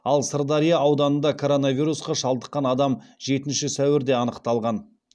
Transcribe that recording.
ал сырдария ауданында коронавирусқа шалдыққан адам жетінші сәуірде анықталған